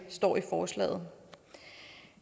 står i forslaget